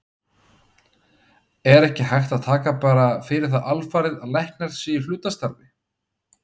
Er hægt að taka bara fyrir það alfarið að læknar séu í hlutastarfi?